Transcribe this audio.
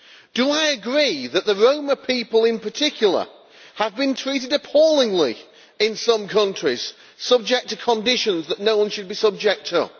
Do I agree that the Roma people in particular have been treated appallingly in some countries and subjected to conditions that no one should be subjected to?